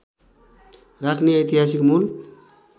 राख्ने ऐतिहासिक मूल